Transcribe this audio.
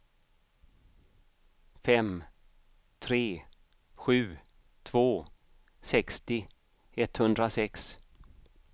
fem tre sju två sextio etthundrasex